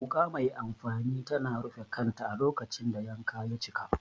Wuka mai amfani tana rufe kanta a lokacin da yanka ya cika.